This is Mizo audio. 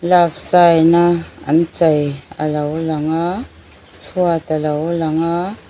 love sign a an chei alo lang a chhuat alo lang a.